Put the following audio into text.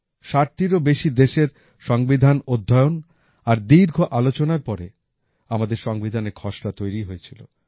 ষাটটিরও বেশি দেশের সংবিধানের অধ্যয়ন আর দীর্ঘ আলোচনার পরে আমাদের সংবিধানের খসড়া তৈরি হয়েছিল